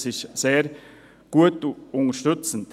Dies ist sehr gut und unterstützend.